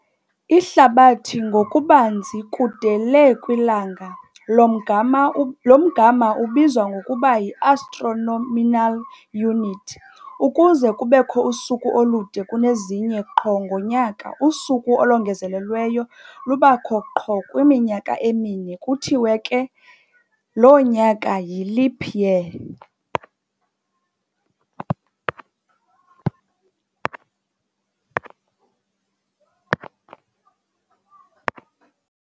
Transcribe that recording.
Ihlabathi ngokubanzi kude le kwilanga, lo mgama lo mgama ubizwa ngokuba yi"Astronomical Unit". Ukuze kubekho usuku olude kunezinye qho ngonyaka, usuku olongezelelweyo lubakho qho kwiminyaka emine. Kuthiwe ke lo nyaka yi"leap year".